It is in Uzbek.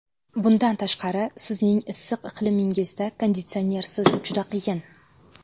Bundan tashqari, sizning issiq iqlimingizda konditsionersiz juda qiyin.